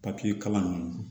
Papiye kalan ninnu